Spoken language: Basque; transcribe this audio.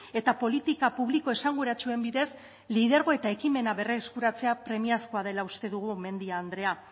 eta politika publiko esanguratsuen bidez lidergo eta ekimena berreskuratzea premiazkoa dela uste dugu mendia andrea